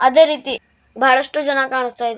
ಅದೇ ರೀತಿ ಬಹಳಷ್ಟು ಜನ ಕಾಣಿಸ್ತಾ ಇ--